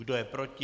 Kdo je proti?